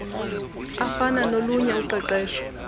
afana nolunye uqeqesho